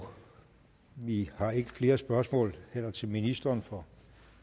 og vi har heller ikke flere spørgsmål til ministeren for